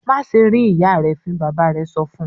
"Má ṣe rín ìyá rẹ fín!" Bàbá rẹ̀ sọ fún un.